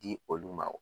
Di olu ma o